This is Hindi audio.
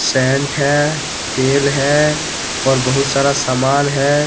पेंट है तेल है और बहुत सारा सामान है।